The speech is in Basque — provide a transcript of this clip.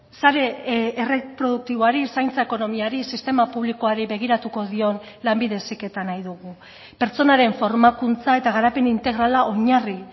sare erreproduktiboari zaintza ekonomiari sistema publikoari begiratuko dion lanbide heziketa nahi dugu pertsonaren formakuntza eta garapen integrala oinarri